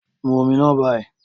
Mu omi náà báyìí.